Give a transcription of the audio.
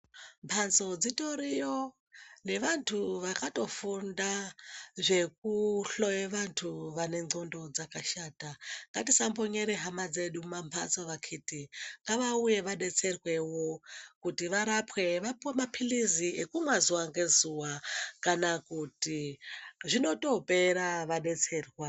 Mhatso dzitoriyo nevantu vakatofunda zvekuhloye vantu vane ndxondo dzakashata. Ngatisambonyere hama dzedu mumamhatso vakhiti ngavauye vadetserwewo kuti varapwe vapuwe maphirizi ekumwa zuwa ngezuwa kana kuti zvinotopera vadetserwa.